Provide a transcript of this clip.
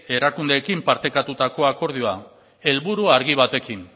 erakundeekin partekatutako akordioa helburu argi batekin